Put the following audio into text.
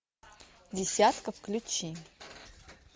десятка включи